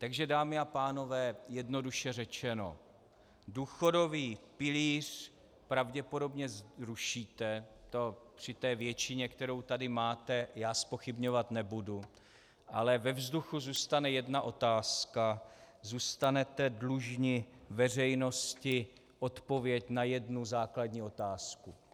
Takže dámy a pánové, jednoduše řečeno, důchodový pilíř pravděpodobně zrušíte, to pří té většině, kterou tady máte, já zpochybňovat nebudu, ale ve vzduchu zůstane jedna otázka - zůstanete dlužni veřejnosti odpověď na jednu základní otázku.